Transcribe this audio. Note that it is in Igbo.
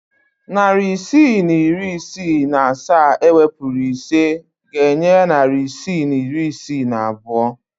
Narị isii na iri isii na asaa ewepuru ise ga-enye narị isii na iri isii na abụọ.